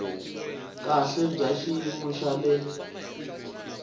kahle bya xiyimo xa le